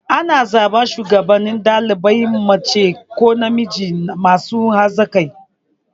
Ana zaɓan shugaban ɗalibai mace ko namiji masu hazaƙa.